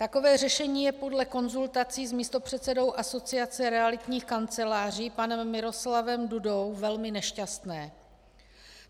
Takové řešení je podle konzultací s místopředsedou Asociace realitních kanceláří panem Miroslavem Dudou velmi nešťastné.